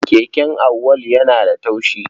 Keken Auwalu yana da taushi.